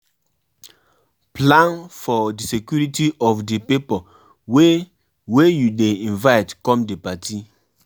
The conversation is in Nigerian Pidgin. um If um you um won de house do holiday do things like watching movies, cooking, games make e no de boring